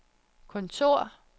kontor